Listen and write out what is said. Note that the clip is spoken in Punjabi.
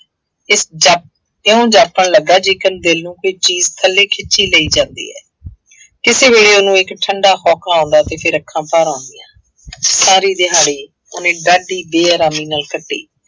ਇਉਂ ਜਾਪਣ ਲੱਗਾ ਜਿੱਕਣ ਦਿਲ ਨੂੰ ਕੋਈ ਚੀਜ਼ ਥੱਲੇ ਖਿੱਚੀ ਲਈ ਜਾਂਦੀ ਹੈ ਕਿਸੇ ਵੇਲੇ ਉਹਨੂੰ ਇੱਕ ਠੰਢਾ ਹੋਂਕਾ ਆਉਂਦਾ ਤੇ ਫਿਰ ਅੱਖਾਂ ਭਰ ਆਉਂਦੀਆਂ ਸਾਰੀ ਦਿਹਾੜੀ ਉਹਨੇ ਡਾਢੀ ਬੇਆਰਾਮੀ ਨਾਲ ਕੱਟੀ।